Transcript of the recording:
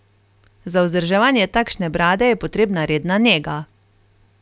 Za vzdrževanje takšne brade je potrebna redna nega.